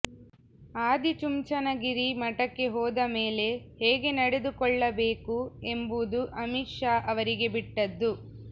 ಆದಿ ಚುಂಚನಗಿರಿ ಮಠಕ್ಕೆ ಹೋದ ಮೇಲೆ ಹೇಗೆ ನಡೆದುಕೊಳ್ಳಬೇಕು ಎಂಬುದು ಅಮಿತ್ ಶಾ ಅವರಿಗೆ ಬಿಟ್ಟದ್ದು